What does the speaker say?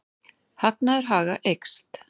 Hagnaður Haga eykst